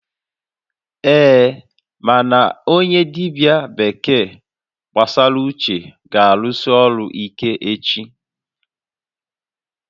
Ee, mana onye dibia bekee gbasara uche ga-arụsi ọrụ ike echi